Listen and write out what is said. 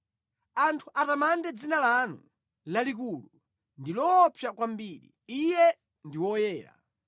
Anthu atamande dzina lanu lalikulu ndi loopsa kwambiri, Iye ndi woyera.